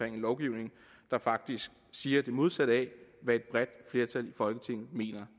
en lovgivning der faktisk siger det modsatte af hvad et bredt flertal i folketinget mener